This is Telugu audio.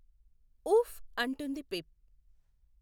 ఊఫ్ అంటుంది పిప్.